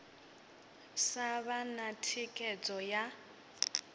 sa vha na thikhedzo ya